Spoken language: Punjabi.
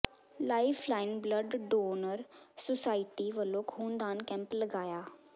life line blood donor society ਵਲੋਂ ਖ਼ੂਨਦਾਨ ਕੈਂਪ ਲਗਾਇਆ